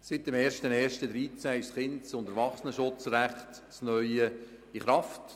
Seit dem 01. 01. 2013 ist das neue Kindes- und Erwachsenenschutzrecht in Kraft.